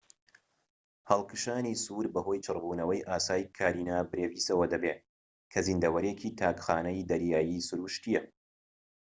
هەڵکشانی سوور بەهۆی چڕبوونەوەی ئاسایی کارینا برێڤیسەوە دەبێت کە زیندەوەرێکی تاک خانەی دەریایی سروشتییە